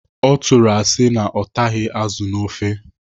Ọ tụrụ asị na ọ taghị azụ nọ n'ofe.